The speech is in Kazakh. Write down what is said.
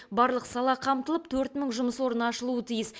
барлық сала қамтылып төрт мың жұмыс орны ашылуы тиіс